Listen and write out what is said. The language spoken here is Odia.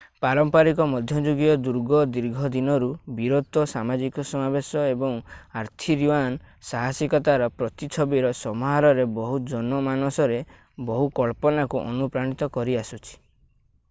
ପାରମ୍ପରିକ ମଧ୍ୟଯୁଗୀୟ ଦୁର୍ଗ ଦୀର୍ଘ ଦିନରୁ ବୀରତ୍ୱ ସାମାଜିକ ସମାବେଶ ଏବଂ ଆର୍ଥୁରିଆନ୍ ସାହସିକତାର ପ୍ରତିଛବିର ସମାହାରରେ ବହୁ ଜନମାନସରେ ବହୁ କଳ୍ପନାକୁ ଅନୁପ୍ରାଣୀତ କରିଆସୁଛି